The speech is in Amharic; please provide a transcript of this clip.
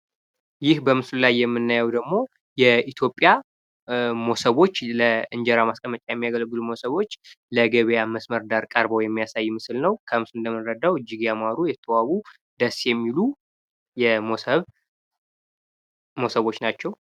ይህ በምስሉ ላይ የምናየው ደግሞ የኢትዮጵያ መሶቦች ለእንጀራ ማስቀመጫ የሚያገለግሉ መሰቦች ለገበያ መስመር ዳር ቀርበው የሚያሳይ ምስል ነው። ከምስሉ እንደምንረዳው እጂግ ያማረ፣ የተዋቡ፣ ደስ የሚሉ መሶቦች ናቸው።